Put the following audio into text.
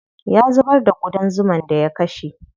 Ya zubar da ƙudan zuman da ya kashe.